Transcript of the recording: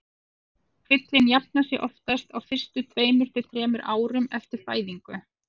Kvillinn jafnar sig oftast á fyrstu tveimur til þremur árum eftir fæðingu.